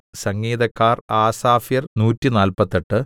സംഗീതക്കാർ ആസാഫ്യർ നൂറ്റിനാല്പത്തെട്ട്